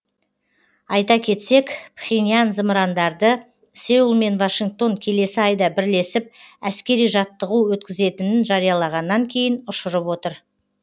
айта кетсек пхеньян зымырандарды сеул мен вашингтон келесі айда бірлесіп әскери жаттығу өткізетінін жариялағаннан кейін ұшырып отыр